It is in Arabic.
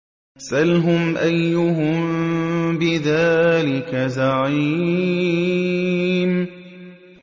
سَلْهُمْ أَيُّهُم بِذَٰلِكَ زَعِيمٌ